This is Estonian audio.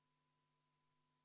Kohal on 57 Riigikogu liiget.